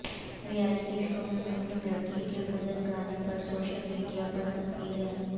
reality show میں مسلم لڑکی کے بھجن گانے پر سوشیل میڈیا پر تنقیدیں